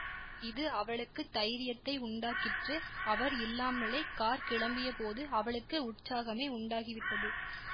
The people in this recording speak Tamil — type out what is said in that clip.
இது அவளுக்கு தைரியத்தை உண்டாக்கிற்று அவர் இல்லாமலே கார் கிளம்பிய போது அவளுக்கு உற்சாகமே உண்டாகிவிட்டது